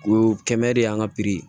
O kɛ mɛ de y'an ka